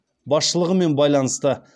басшылығымен байланысты